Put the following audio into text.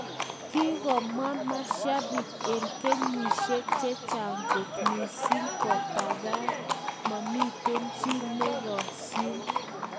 Kikomwa masiapik en kenyisiek chechang kot missing kopaten momiten chi nekosyin.